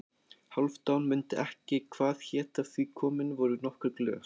Hálfdán mundi ekki hvað hét af því komin voru nokkur glös.